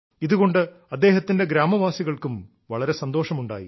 ഇതുകൊണ്ട് അദ്ദേഹത്തിന്റെ ഗ്രാമവാസികൾക്കും വളരെ സന്തോഷമുണ്ടായി